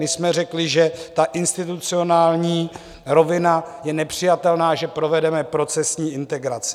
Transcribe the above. My jsme řekli, že ta institucionální rovina je nepřijatelná, že provedeme procesní integraci.